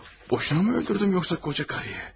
Boşuna mı öldürdüm yoxsa qoca qarıya?